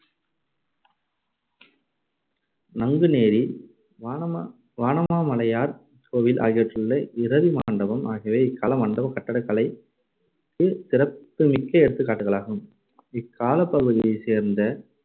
நங்குநேரி வானமா~ வானமாமலையார் கோவில் ஆகியவற்றிலுள்ள இரதிமண்டபம் ஆகியவை இக்கால மண்டபக் கட்டடக்கலைக்கு சிறப்புமிக்க எடுத்துக்காட்டுகளாகும். இக்காலப்பகுதியைச் சேர்ந்த